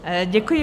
Děkuji.